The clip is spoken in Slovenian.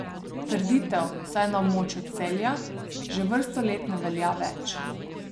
Trditev, vsaj na območju Celja, že vrsto let ne velja več.